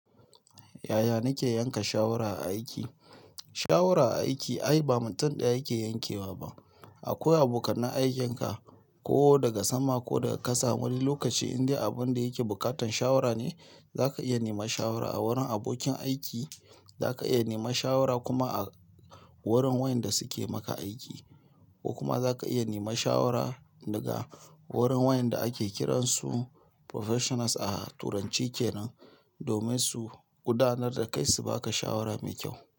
Yaya nake yanka shawara a aiki? Shawara a aiki ai ba mutum ɗaya yake yankewa ba. Akwai abokan aikin ka ko daga sama ko daga ƙasa. Wani lokaci indai abin da yake buƙatan shawara ne, za ka iya nema shawara a wurin abokin aiki. Za ka iya nema shawara kuma a wurin wayanda suke maka aiki ko kuma za ka iya nema shawara daga wurin wayanda ake kiransu professionals a turanci kenan domin su gudanar dakai su baka shawara mai kyau.